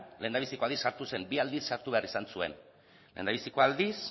lehendabiziko aldiz sartu zen bi aldiz sartu behar izan zuen lehendabiziko aldiz